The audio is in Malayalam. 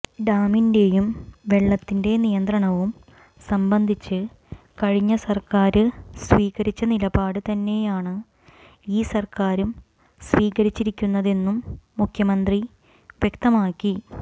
ഡാമിന്റെയും വെള്ളത്തിന്റെ നിയന്ത്രണവും സംബന്ധിച്ച് കഴിഞ്ഞ സര്ക്കാര് സ്വീകരിച്ച നിലപാട് തന്നെയാണ് ഈ സര്ക്കാരും സ്വീകരിച്ചിരിക്കുന്നതെന്നും മുഖ്യമന്ത്രി വ്യക്തമാക്കി